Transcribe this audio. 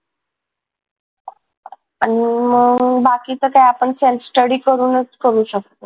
आणि मग बाकीचं काय आपण study करूनच करू शकतो